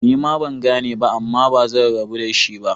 Nima bangane ba Amma bazan rabu da shi ba.